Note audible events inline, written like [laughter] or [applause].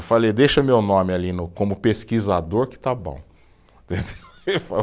Eu falei, deixa meu nome ali no, como pesquisador que está bom. [laughs]